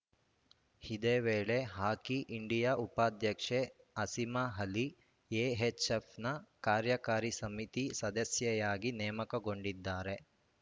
ಇದೇ ವೇಳೆ hockey India ಉಪಾಧ್ಯಕ್ಷೆ ಅಸಿಮಾ ಅಲಿ ಎಎಚ್‌ಎಫ್‌ನ ಕಾರ್ಯಾಕಾರಿ ಸಮಿತಿ ಸದಸ್ಯೆಯಾಗಿ ನೇಮಕಗೊಂಡಿದ್ದಾರೆ